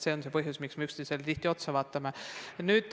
See on põhjus, miks me üksteisele tihti otsa vaatame.